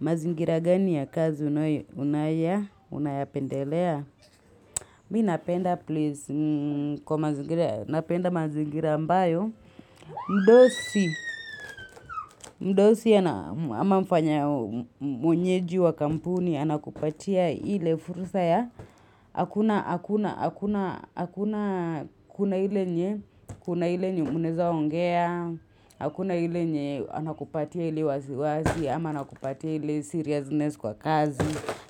Mazingira gani ya kazi unaya, unayapendelea? Mi napenda please, napenda mazingira mbayo. Mdosi, mdosi ama mfanya mwenyeji wa kampuni, anakupatia hile fursa ya, hakuna, hakuna, hakuna, hakuna, kuna hile nye, kuna hile nye munaeza ongea, hakuna hile nye anakupatia hile wasi wasi, ama anakupatia hile seriousness kwa kazi,